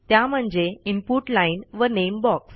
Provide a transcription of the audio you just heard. त्या म्हणजे input line वName बॉक्स